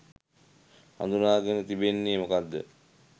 හඳුනාගෙන තිබෙන්නේ මොකක්ද?